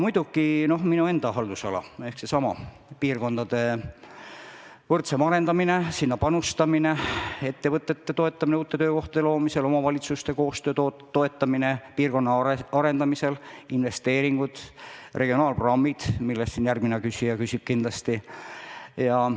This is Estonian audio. Muidugi minu enda haldusala on seesama piirkondade võrdsem arendamine ja sinna panustamine, samuti ettevõtete toetamine uute töökohtade loomisel, omavalitsuste koostöö toetamine piirkondade arendamisel ja investeeringud ning regionaalprogrammid, mille kohta järgmine küsija kindlasti küsib.